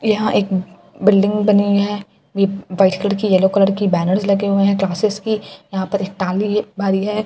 यहाँ एक ब बिल्डिंग बनी है ये व्हाइट कलर की यलो कलर की बैनेरस लगे हुए हैं क्लासेज की यहाँ पर एक ताले बी मारी है एक--